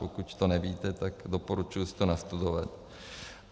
Pokud to nevíte, tak doporučuji si to nastudovat.